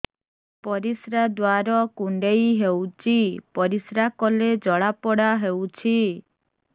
ପରିଶ୍ରା ଦ୍ୱାର କୁଣ୍ଡେଇ ହେଉଚି ପରିଶ୍ରା କଲେ ଜଳାପୋଡା ହେଉଛି